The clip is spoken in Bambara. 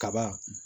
Kaba